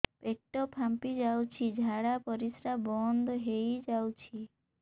ପେଟ ଫାମ୍ପି ଯାଉଛି ଝାଡା ପରିଶ୍ରା ବନ୍ଦ ହେଇ ଯାଉଛି